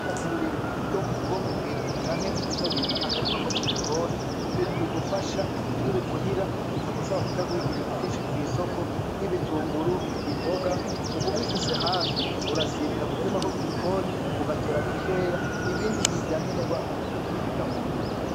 Nita ku burimyi bwo muhira canke bita akarima ko mu gikoni. Ni ibintu bigufasha iyo uri muhira bitagusaba kuja guhiga ibintu vyinshi kw'isoko, nk'ibitunguru, imboga ub'ubifise hafi urasimira ku karima ko ku gikoni ugatora bikeya ibindi vya nkenerwa ukaja kubihiga hanyuma.